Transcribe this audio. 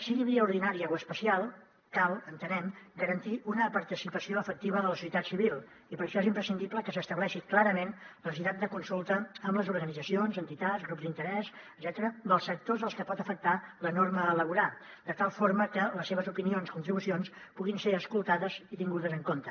sigui via ordinària o especial cal entenem garantir una participació efectiva de la societat civil i per això és imprescindible que s’estableixi clarament la necessitat de consulta amb les organitzacions entitats grups d’interès etcètera dels sectors als que pot afectar la norma a elaborar de tal forma que les seves opinions i contribucions puguin ser escoltades i tingudes en compte